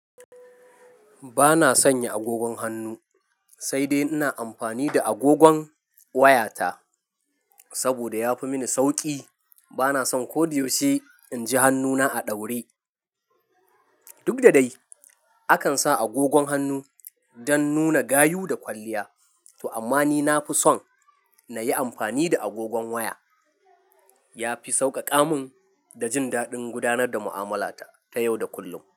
Bana sanya agogon hannu sai dai ina amfani da agogon wayata saboda ya fi mini sauƙi. Bana son ko da yaushe in ji hannuna a ɗaure. Duk da dai, akan sa agogon hannu don nuna gayu da kwalliya, to amma ni na fi son na yi amfani da agogon waya. Ya fi sauƙaƙa mun da jin daɗin gudanar da mu'amalata ta yau da kullum.